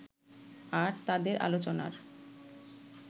আর তাদের আলোচনার